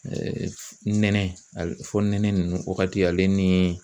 nɛnɛ ale fɔnɛnɛ ninnu wagati ale ni